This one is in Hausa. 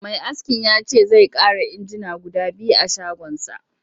Mai askin ya ce zai ƙara injina guda biyu a shagonsa